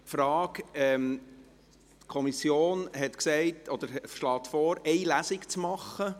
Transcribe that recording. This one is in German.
Frage: die Kommission schlägt vor, eine Lesung durchzuführen.